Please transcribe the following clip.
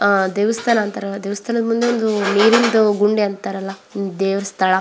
ಆಹ್ಹ್ ದೇವಸ್ಥಾನ ಅಂತಾರಲ್ಲ ದೇವಸ್ಥಾನದ ಮುಂದೆ ಒಂದು ನೀರಿನ ಗುಂಡೆ ಅಂತಾರಲ್ಲ ದೇವ್ರ್ ಸ್ಥಳ.